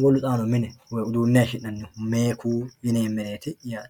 wolu xaano hayishi'neemehu yi'nemereti yaate